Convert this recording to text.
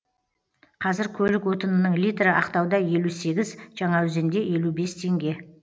қазір көлік отынының литрі ақтауда елу сегіз жаңаөзенде елу бес теңге